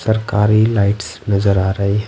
सरकारी लाइट्स नजर आ रही।